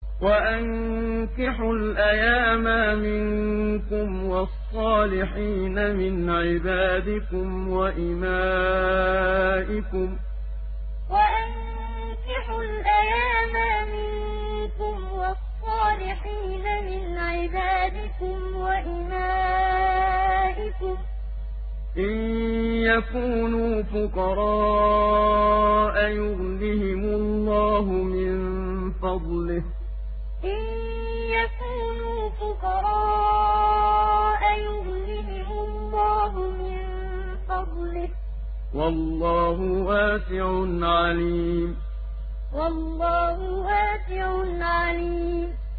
وَأَنكِحُوا الْأَيَامَىٰ مِنكُمْ وَالصَّالِحِينَ مِنْ عِبَادِكُمْ وَإِمَائِكُمْ ۚ إِن يَكُونُوا فُقَرَاءَ يُغْنِهِمُ اللَّهُ مِن فَضْلِهِ ۗ وَاللَّهُ وَاسِعٌ عَلِيمٌ وَأَنكِحُوا الْأَيَامَىٰ مِنكُمْ وَالصَّالِحِينَ مِنْ عِبَادِكُمْ وَإِمَائِكُمْ ۚ إِن يَكُونُوا فُقَرَاءَ يُغْنِهِمُ اللَّهُ مِن فَضْلِهِ ۗ وَاللَّهُ وَاسِعٌ عَلِيمٌ